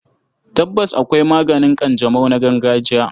Tabbas, akwai maganin ƙanjamau na gargajiya.